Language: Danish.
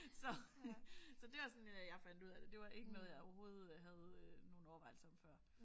Så så det var sådan jeg fandt ud af det det var ikke noget jeg overhovedet havde nogen overvejelser om før